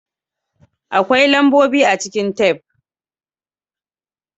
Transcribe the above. Akwai lambobi a cikin tef.